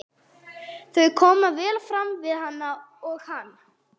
Þau koma vel fram við hana og hann